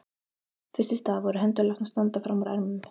Fyrst í stað voru hendur látnar standa fram úr ermum.